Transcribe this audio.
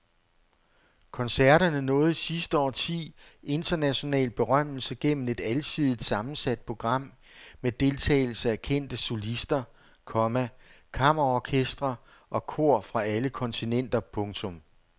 Koncerterne nåede i sidste årti international berømmelse gennem et alsidigt sammensat program med deltagelse af kendte solister, komma kammerorkestre og kor fra alle kontinenter. punktum